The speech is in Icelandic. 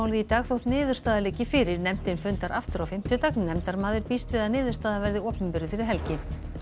í dag þó niðurstaða liggi fyrir nefndin fundar aftur á fimmtudag nefndarmaður býst við að niðurstaðan verði opinberuð fyrir helgi